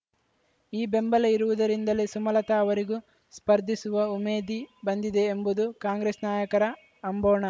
ಈ ಬೆಂಬಲ ಇರುವುದರಿಂದಲೇ ಸುಮಲತಾ ಅವರಿಗೂ ಸ್ಪರ್ಧಿಸುವ ಉಮೇದಿ ಬಂದಿದೆ ಎಂಬುದು ಕಾಂಗ್ರೆಸ್‌ ನಾಯಕರ ಅಂಬೋಣ